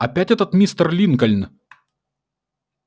опять этот мистер линкольн